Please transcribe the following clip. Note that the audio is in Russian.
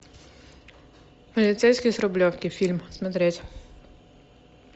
полицейский с рублевки фильм смотреть